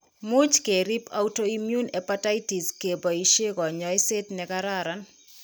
Much ke riib autoimmune hepatitis ke boisie konyoiset ne kararan.